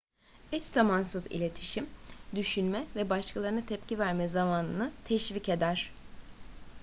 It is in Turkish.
eşzamansız iletişim düşünme ve başkalarına tepki verme zamanını teşvik eder